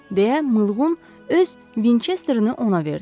deyə Mılqın öz Vinçesterini ona verdi.